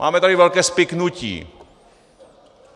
Máme tady velké spiknutí.